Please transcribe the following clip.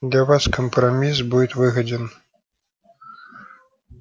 для вас компромисс будет выгоден